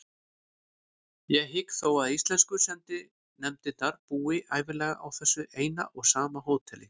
Ég hygg þó að íslensku sendinefndirnar búi ævinlega á þessu eina og sama hóteli.